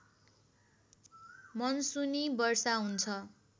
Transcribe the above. मनसुनी वर्षा हुन्छ